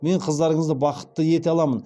мен қыздарыңызды бақытты ете аламын